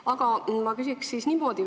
Aga ma küsin niimoodi.